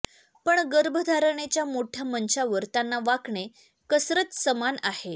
पण गर्भधारणेच्या मोठ्या मंचावर त्यांना वाकणे कसरत समान आहे